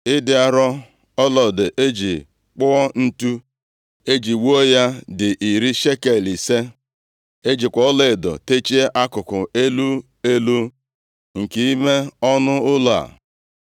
Ịdị arọ ọlaedo e ji kpụọ ǹtu e ji wuo ya dị iri shekel ise. E jikwa ọlaedo techie akụkụ elu elu nke ime ọnụ ụlọ a.